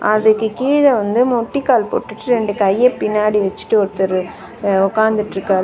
அதுக்கு கீழ வந்து முட்டிக்கால் போட்டுட்டு ரெண்டு கைய பின்னாடி வச்சிட்டு ஒருத்தரு அ உக்காந்துட்ருக்காரு.